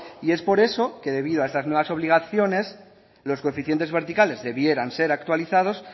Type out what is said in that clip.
y es por eso que debido a estas nuevas obligaciones los coeficientes verticales debieran ser actualizados